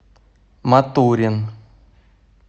матурин